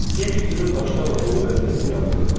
Çünki cibim daşlarla dolu vəziyyətdə yatırdım.